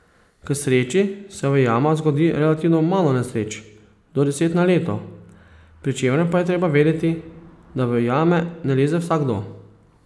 K sreči se v jamah zgodi relativno malo nesreč, do deset na leto, pri čemer pa je treba vedeti, da v jame ne leze vsakdo.